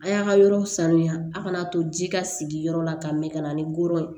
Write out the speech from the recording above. A y'a ka yɔrɔw sanuya a kana to ji ka sigi yɔrɔ la ka mɛn ka na ni koro ye